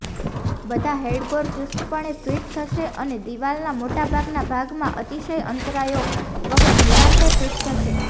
બધા હેડગોર ચુસ્તપણે ફિટ થશે અને દિવાલના મોટાભાગના ભાગમાં અતિશય અંતરાયો વગર નિરાંતે ફિટ થશે